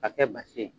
Ka kɛ basi ye